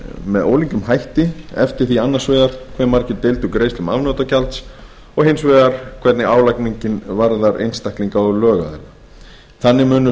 með ólíkum hætti eftir því annars vegar hve margir deildu greiðslum afnotagjalds og hins vegar hvernig álagningin varðar einstaklinga og lögaðila þannig munu